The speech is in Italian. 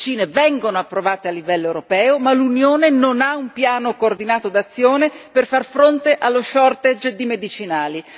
Le medicine vengono approvate a livello europeo, ma l'Unione non ha un piano coordinato d'azione per far fronte allo shortage di medicinali.